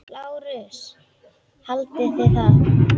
LÁRUS: Haldið þið það?